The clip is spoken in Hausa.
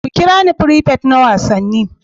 Ku kira ni prefect na Wasanni.